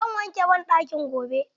Zan wanke banɗakin gobe.